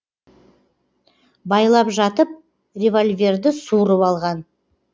байлап жатып револьверді суырып алған